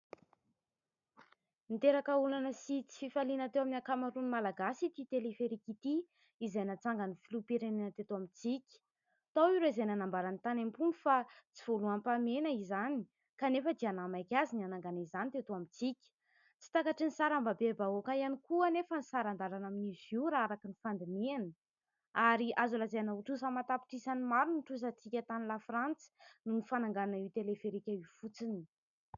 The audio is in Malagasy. Niteraka olana sy tsy fifaliana teo amin'ny ankamaroan'ny Malagasy ity teleferika ity , izay natsangan'ny filoha-pirenena teto amintsika. Tao ireo izay nanambara ny tany am-pony fa tsy voaloham-pahamehana izany, kanefa dia nahamaika azy ny hanangana izany teto amintsika ; tsy takatrin'ny sarambabembahoaka ihany koa anefa ny saran-dalana amin'n'izy io , raha araka ny fandinihana , ary azo lazaina ho trosa amatapitrisany maro ny trosatsika tany la Frantsa, noho ny fananganana io teleferika io fotsiny.